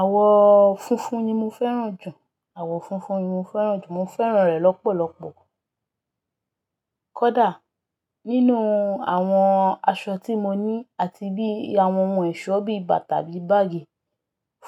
Àwọ funfun ni mo fẹ́ràn jù. Àwọ funfun ni mo fẹ́ràn jù. Mo fẹ́ràn rẹ̀ lọ́pọ̀lọpọ̀. Kódà nínú àwọn aṣọ tí mo ní àti bí àwọn ohun ẹ̀ṣọ́ bí bàtà bí báágì,